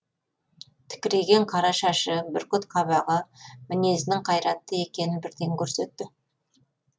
тікірейген қара шашы бүркіт қабағы мінезінің қайратты екенін бірден көрсетті